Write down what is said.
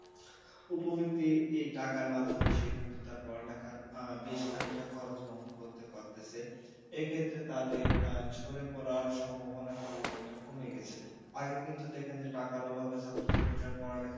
উপবৃত্তি এই টাকার মাধ্যমে সে কিন্তু তার পড়ালেখার আহ বেশ খানিকটা খরচ বহন করতে পারতেছে এই ক্ষেত্রে তাদের আহ ঝরে পড়ার সম্ভাবনা কিন্তু অনেকটা কমে গেছে। আগে কিন্তু দেখেন যে টাকার অভাবে ছাত্রছাত্রীরা পড়ালেখা